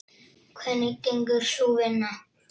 Hvernig gengur sú vinna?